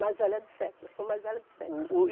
Mais velha de sete, eu sou mais velha de sete.